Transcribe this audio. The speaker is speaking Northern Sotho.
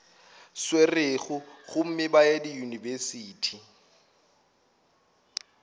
swerego gomme ba ye diyunibesithi